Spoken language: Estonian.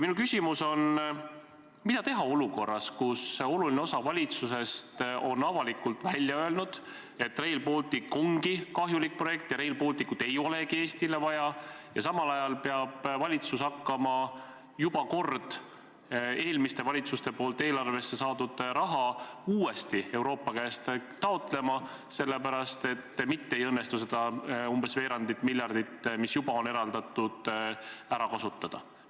Minu küsimus on: mida teha olukorras, kus oluline osa valitsusest on avalikult välja öelnud, et Rail Baltic on kahjulik projekt ja Rail Balticut ei olegi Eestile vaja, ja samal ajal peab valitsus hakkama juba eelmiste valitsuste poolt eelarvesse juba saadud raha uuesti Euroopa käest taotlema, sellepärast et mitte ei õnnestu seda umbes veerandit miljardit, mis juba on eraldatud, ära kasutada?